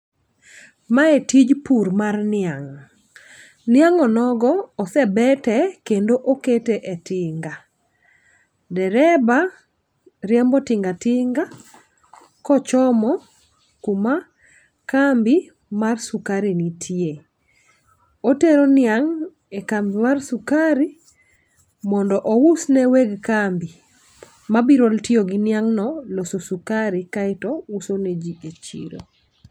Mae tij pur mar ninga' niang' onogo osebete kendo okete e tinga. Dereba riembo tingatinga kochomo kuma kambi mar sukari nitie. Otero niang' e kambi mar sukari mondo ous ne weg kambi ma biro tiyo gi niang' no loso sukari kaeto uso ne jii e chiro.